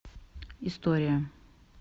история